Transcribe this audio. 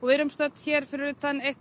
við erum stödd fyrir utan eitt